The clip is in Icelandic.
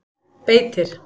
Beitir